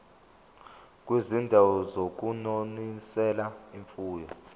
kwizindawo zokunonisela imfuyo